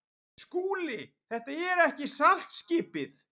SKÚLI: Þetta er ekki saltskipið.